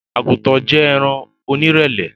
Agútàn jẹ́ ẹ̀ran ọnírẹlẹ̀